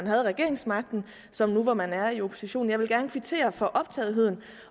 havde regeringsmagten som nu hvor man er i opposition jeg vil gerne kvittere for optagetheden